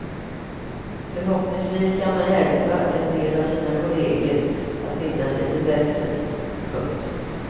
Förhoppningsvis kan han hjälpa en del av sina kolleger att minnas lite bättre. punkt